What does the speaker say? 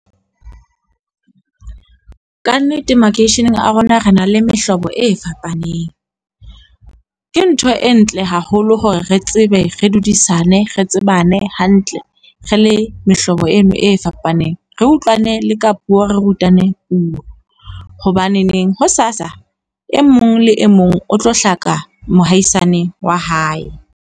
Ka nnete makeisheneng a rona re na le mehlobo e fapaneng. Ke ntho e ntle haholo hore re tsebe re dudisane, re tsebane hantle re le mehlobo eno e fapaneng, re utlwane le ka puo, re rutaneng puo, hobaneneng hosasa e mong le e mong o tlo hlaka mohaisane wa hae.